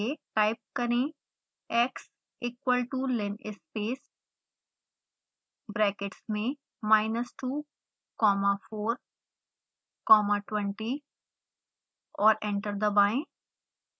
type करें x = linspace brackets में minus 2 comma 4 comma 20 और एंटर दबाएं